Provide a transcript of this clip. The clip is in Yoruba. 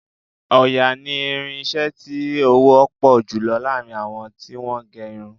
Òòyà ni irin-iṣẹ́ tí ó wọ́ pọ̀ jùlọ láàrin àwọn tí wọ́n ń ge irun.